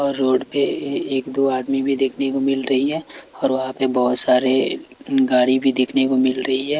और रोड पे एक दो आदमी भी देखने को मिल रही है और वहां पे बहोत सारे गाड़ी भी देखने को मिल रही है।